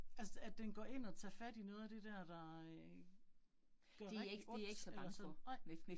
Altså det, at den går ind og tager fat i noget af det dér, der øh gør rigtig ondt eller eller sådan nej